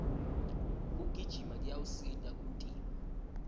kugijima kuyawusita umtimba